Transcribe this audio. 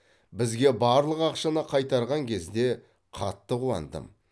бізге барлық ақшаны қайтарған кезде қатты қуандым